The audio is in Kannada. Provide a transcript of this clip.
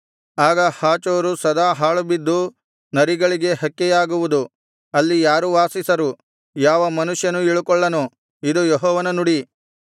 ಆಗ ಹಾಚೋರು ಸದಾ ಹಾಳುಬಿದ್ದು ನರಿಗಳಿಗೆ ಹಕ್ಕೆಯಾಗುವುದು ಅಲ್ಲಿ ಯಾರೂ ವಾಸಿಸರು ಯಾವ ನರಮನುಷ್ಯನೂ ಇಳುಕೊಳ್ಳನು ಇದು ಯೆಹೋವನ ನುಡಿ